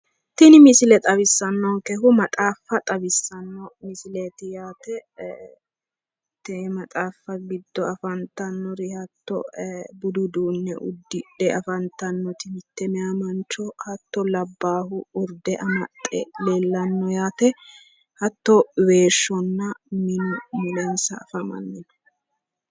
Tini misile xawisanonkehu maxaaffa xawisano misileti yaate Tene maxaaffa giddo afantannori budu uduune udidhe afantanoti mite maayi mancho hattono labbahu urde amaxe leellano hattono weeshunna minu mulensa afamano